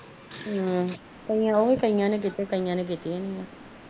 ਆਹੋ ਕਈਆਂ ਨੇ ਕੀਤੀਆਂ ਕਾਇਆ ਨੇ ਨੀ ਕੀਤੀਆਂ